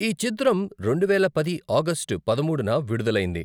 ఈ చిత్రం రెండువేల పది ఆగస్టు పదమూడున విడుదలైంది.